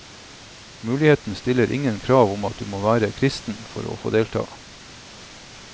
Menigheten stiller ingen krav om at du må være kristen for å få delta.